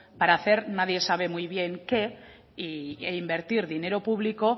para hacer nadie sabe muy bien qué e invertir dinero público